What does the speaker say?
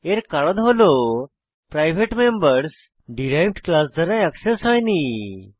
এর কারণ হল প্রাইভেট মেম্বরস ডিরাইভড ক্লাস দ্বারা অ্যাক্সেস হয়নি